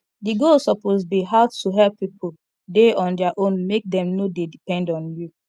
the goal suppose be how to help pipo dey on their own make dem no dey depend on you